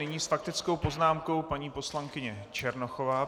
Nyní s faktickou poznámkou paní poslankyně Černochová.